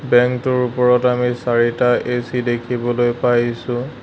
বেংকটোৰ ওপৰত আমি চাৰিটা এ_চি দেখিবলৈ পাইছোঁ।